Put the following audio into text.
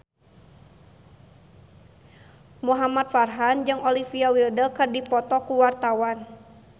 Muhamad Farhan jeung Olivia Wilde keur dipoto ku wartawan